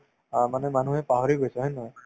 অ, মানে মানুহে পাহৰি গৈছে হয় নে নহয়